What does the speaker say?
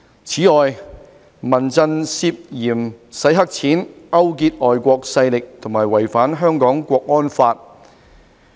此外，民陣涉嫌洗黑錢、勾結外國勢力和違反《香港國安法》。